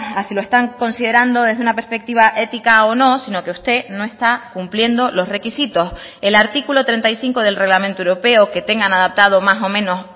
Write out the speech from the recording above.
a si lo están considerando desde una perspectiva ética o no si no que usted no está cumpliendo los requisitos el artículo treinta y cinco del reglamento europeo que tengan adaptado más o menos